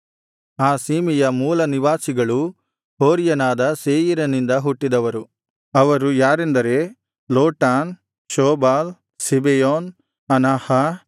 ಆ ಸೀಮೆಯ ಮೂಲನಿವಾಸಿಗಳು ಹೋರಿಯನಾದ ಸೇಯೀರಿನಿಂದ ಹುಟ್ಟಿದವರು ಅವರು ಯಾರೆಂದರೆ ಲೋಟಾನ್ ಶೋಬಾಲ್ ಸಿಬೆಯೋನ್ ಅನಾಹ